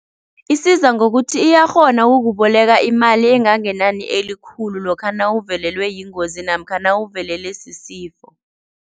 Isiza ngokuthi iyakghona ukukuboleka imali engangenani elikhulu lokha nawuvelelwe yingozi namkha nawuvelelwe sisifo.